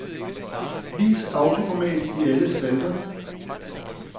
Vis autoformat i alle spalter.